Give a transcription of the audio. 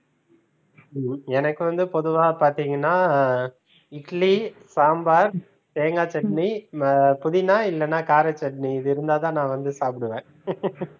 ஹம் எனக்கு வந்து பொதுவா பார்த்தீங்கன்னா இட்லி சாம்பார் தேங்காய் chutney ஆஹ் புதினா இல்லனா கார chutney இது இருந்தா தான் நான் சாப்பிடுவேன்